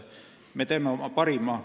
Me anname oma parima.